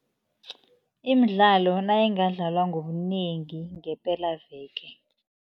Imidlalo nayingadlalwa ngobunengi ngepelaveke.